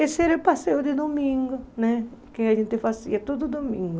Esse era o passeio de domingo, né que a gente fazia todo domingo.